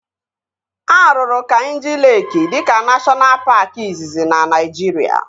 A rụrụ Kainjị Leeki dịka neshọna paaki izizi na Naijiria